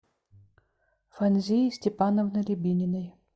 фанзии степановны рябининой